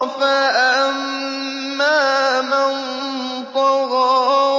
فَأَمَّا مَن طَغَىٰ